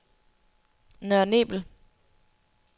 Nørre Nebel